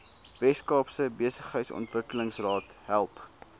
weskaapse behuisingsontwikkelingsraad help